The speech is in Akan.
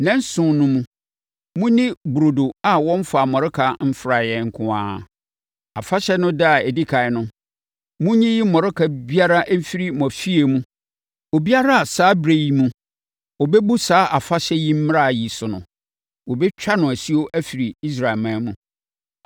Nnanson no mu, monni burodo a wɔmfaa mmɔreka mfraeɛ nko ara. Afahyɛ no ɛda a ɛdi ɛkan no, monyiyi mmɔreka biara mfiri mo afie mu. Obiara a saa ɛberɛ yi mu ɔbɛbu saa afahyɛ yi mmara yi so no, wɔbɛtwa no asuo afiri Israelman mu.